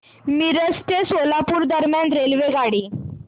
मिरज ते सोलापूर दरम्यान रेल्वेगाडी